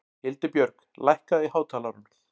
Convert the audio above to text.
Hildibjörg, lækkaðu í hátalaranum.